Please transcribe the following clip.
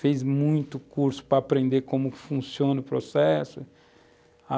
Fez muito curso para aprender como funciona o processo.